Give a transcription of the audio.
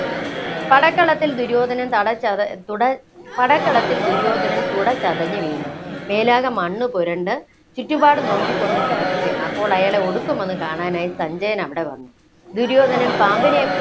പടക്കളത്തില്‍ ദുര്യോധനൻ തട ച്ചത, തുട, പടക്കളത്തില്‍ ദുര്യോധനൻ തുടച്ചതഞ്ഞു വീണു, മേലാകെ മണ്ണ്പുരണ്ട് ചുറ്റുപാടും നോക്കിക്കൊണ്ട് കിടക്കുകയാണ്. അപ്പോള്‍ അയാളെ ഒടുക്കം ഒന്നു കാണാനായി സഞ്ജയൻ അവിടെ വന്നു. ദുര്യോധനൻ പാമ്പിനെ